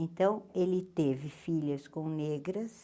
Então ele teve filhas com negras,